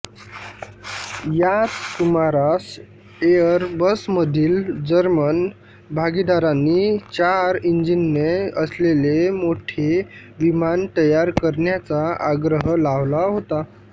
याच सुमारास एअरबसमधील जर्मन भागीदारांनी चार इंजिने असलेले मोठे विमान तयार करण्याचा आग्रह लावला होता